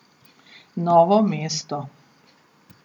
Novo mesto.